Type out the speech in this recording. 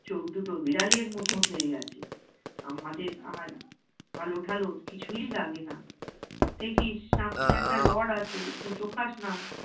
চোখ দুটো বিড়ালের মতো হয়ে গেছে। আমাদের আর আলো ঠালোর কিছুই লাগে না। দেখিস সামনে একটা rod আছে গুতো খাস না।